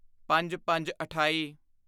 ਪੰਜਪੰਜਅਠਾਈ